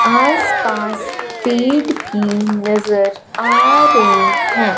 आसपास पेड़ भी नजर आ रहें हैं।